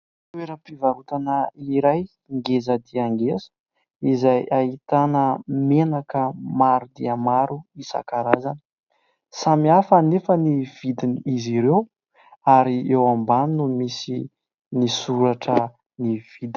Toera-pivarotana iray ngeza dia ngeza , izay ahitana menaka maro dia maro isankarazany ,Samy hafa anefa ny vidin ' izy ireo ary eo ambany no misy misoratra ny vidiny .